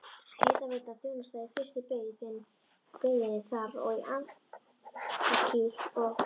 Hitaveitan þjónaði í fyrstu byggðinni þar og í Andakíl og